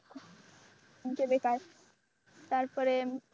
যে বেকার তারপরে